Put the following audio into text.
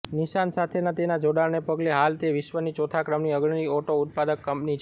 નિસાન સાથેના તેના જોડાણને પગલે હાલ તે વિશ્વની ચોથા ક્રમની અગ્રણી ઓટો ઉત્પાદક કંપની છે